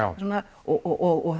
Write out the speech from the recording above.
og